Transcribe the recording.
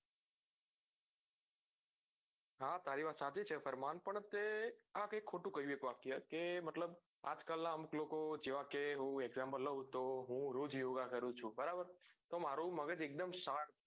હા તારી વાત સાચી છે ફરમાન પણ તે આ તે ખોટું કહું વાક્ય કે આજકાલ અમુક લોકો હું example લઉં તો હું રોજ યોગા કરું છું બરાબર તો મારું મગજ એકદમ sharp